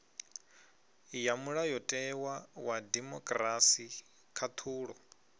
ya mulayotewa wa demokirasi khaṱhulo